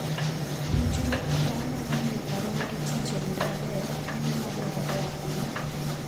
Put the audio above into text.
Puonjruok kaka wanyalo miyo karwa mar tich obed maber en gima dwarore ahinya.